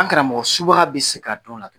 An karamɔgɔ subaga bɛ se ka dɔn a la?